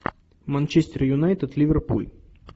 манчестер юнайтед ливерпуль